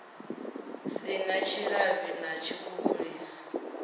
si na tshilavhi na tshikhukhulisi